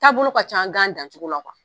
Taa bolo ka can an to an dancogo la kuwa.